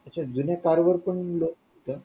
अच्छा जुन्या कार वर पण loan होतंय